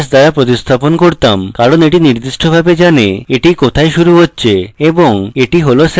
কারণ এটি নির্দিষ্টভাবে জানে এটি কোথায় শুরু হচ্ছে এবং এটি হল separator